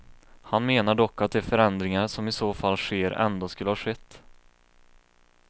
Han menar dock att de förändringar som i så fall sker ändå skulle ha skett.